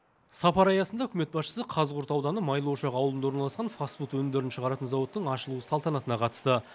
сапар аясында үкімет басшысы қазығұрт ауданы майлыошақ ауылында орналасқан фаст фуд өнімдерін шығаратын зауыттың ашылу салтанатына қатысты